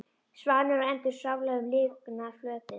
Svanir og endur svamla um lygnan flötinn.